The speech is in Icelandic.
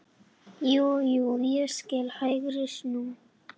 Jú, jú ég skil, HÆGRI snú.